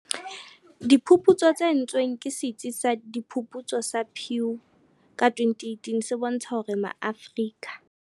Diphuputso tse entsweng ke Setsi sa Diphuputso sa Pew ka 2018 se bontsha hore Maafrika